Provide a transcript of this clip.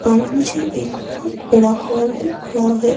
पर मुझे एक बहोत बड़ा हॉल दिख रहा है।